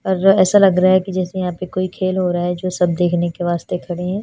और ऐसा लग रहा है कि जैसे यहां पे कोई खेल हो रहा है जो सब देखने के वास्ते खड़े हैं।